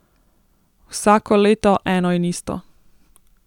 Vsako leto eno in isto.